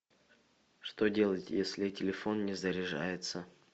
что делать если телефон не заряжается